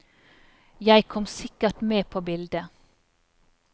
Jeg kom sikkert med på bildet.